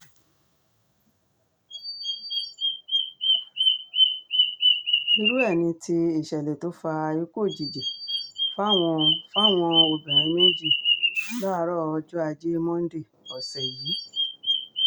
irú ẹ̀ ni ti ìṣẹ̀lẹ̀ tó fa ikú òjijì fáwọn fáwọn obìnrin méjì láàárọ̀ ọjọ́ ajé monde ọ̀sẹ̀ yìí